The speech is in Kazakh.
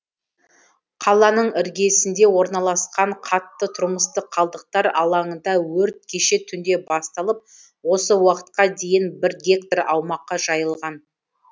қаланың іргесінде орналасқан қатты тұрмыстық қалдықтар алаңында өрт кеше түнде басталып осы уақытқа дейін бір гектар аумаққа жайылған